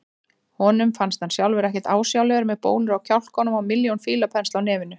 Honum finnst hann sjálfur ekkert ásjálegur með bólur á kjálkunum og milljón fílapensla á nefinu.